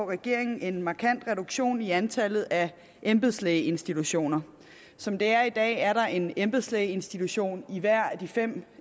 regeringen en markant reduktion i antallet af embedslægeinstitutioner som det er i dag er der en embedslægeinstitution i hver af de fem